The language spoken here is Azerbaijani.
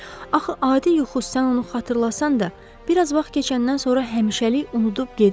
Axı adi yuxu sən onu xatırlasan da, bir az vaxt keçəndən sonra həmişəlik unudub gedir.